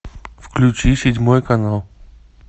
включи седьмой канал